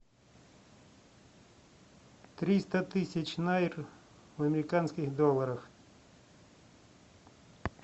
триста тысяч найр в американских долларах